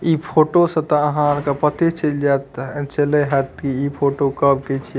इ फोटो से त आहार के पत्ते चल जाता अ चले हा त कि इ फोटो कब के छिये।